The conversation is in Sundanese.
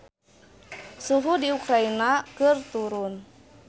Suhu di Ukraina keur turun